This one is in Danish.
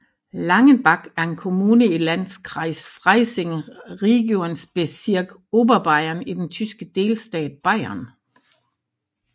Langenbach er en kommune i i Landkreis Freising Regierungsbezirk Oberbayern i den tyske delstat Bayern